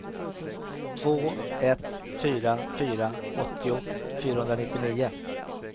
två ett fyra fyra åttio fyrahundranittionio